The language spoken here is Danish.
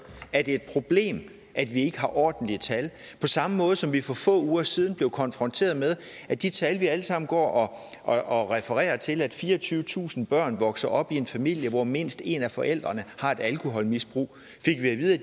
er det et problem at vi ikke har ordentlige tal på samme måde som vi for få uger siden blev konfronteret med at de tal vi alle sammen går og refererer til at fireogtyvetusind børn vokser op i en familie hvor mindst en af forældrene har et alkoholmisbrug fik vi